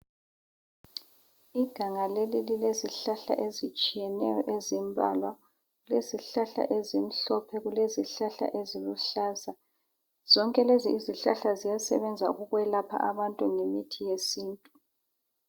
Iganga leli lilezihlahla ezitshiyeneyo ezimbalwa. Kulezihlahla ezimhlophe, kule zihlahla eziluhlaza. Zonke lezi izihlahla ziyasebenza ukwelapha abantu ngemithi yesintu.